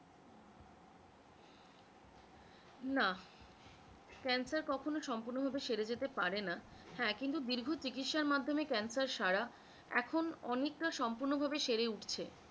না cancer কখনও সম্পূর্ণ ভাবে সেরে যেতে পারে না, হ্যাঁ কিন্তু দীর্ঘ চিকিৎসার মাধ্যমে cancer সারা এখন অনেকটা সম্পূর্ণ ভাবে সেরে উঠছে।